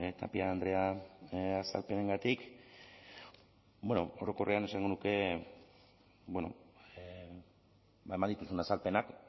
tapia andrea azalpenengatik bueno orokorrean esango nuke eman dituzun azalpenak